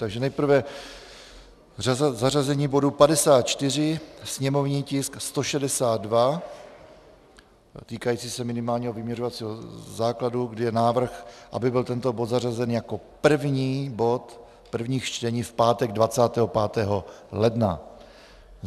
Takže nejprve zařazení bodu 54, sněmovní tisk 162, týkající se minimálního vyměřovacího základu, kdy je návrh, aby byl tento bod zařazen jako první bod prvních čtení v pátek 25. ledna.